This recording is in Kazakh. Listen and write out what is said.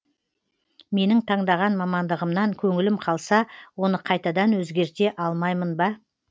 менің таңдаған мамандығымнан көңілім қалса оны қайтадан өзгерте алмаймын ба